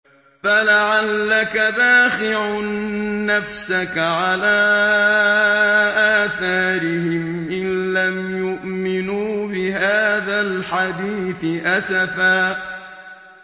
فَلَعَلَّكَ بَاخِعٌ نَّفْسَكَ عَلَىٰ آثَارِهِمْ إِن لَّمْ يُؤْمِنُوا بِهَٰذَا الْحَدِيثِ أَسَفًا